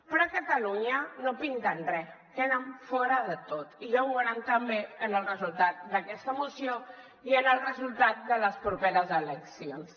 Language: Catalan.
però a catalunya no pinten re queden fora de tot i ja ho veuran també en el resultat d’aquesta moció i en el resultat de les properes eleccions